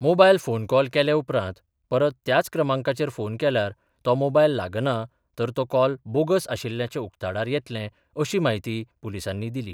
Mobile phone call केले उपरांत परत त्याच क्रमांकाचेर फोन केल्यार तो मोबायल लागनां तर तो कॉल बोगस आशिल्ल्याचें उक्ताडार येतले अशी म्हायती पुलिसांनी दिली.